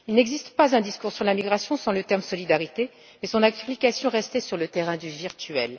Il n'existe pas un discours sur la migration sans le terme solidarité mais son application restait sur le terrain du virtuel.